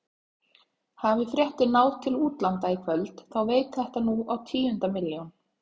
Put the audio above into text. Hafi fréttin náð til útlanda í kvöld þá veit þetta nú á tíundu milljón.